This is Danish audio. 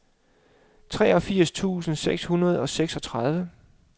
treogfirs tusind seks hundrede og seksogtredive